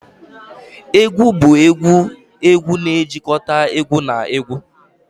Egwu bụ egwu egwu na-ejikọta egwu na egwu